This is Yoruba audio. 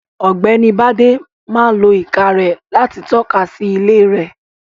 Ọ̀gbẹ́ni Bádé máa lo ìka rẹ̀ láti tọ́ka sí ilé rẹ̀.